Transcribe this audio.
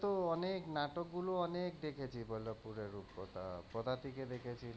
তো অনেক নাটকগুলো অনেক দেখেছি বল্লবপুরের রূপকথা কোথা থেকে দেখেছিলাম,